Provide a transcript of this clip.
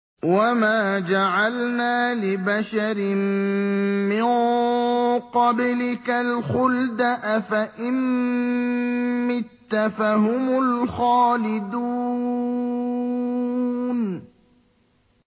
وَمَا جَعَلْنَا لِبَشَرٍ مِّن قَبْلِكَ الْخُلْدَ ۖ أَفَإِن مِّتَّ فَهُمُ الْخَالِدُونَ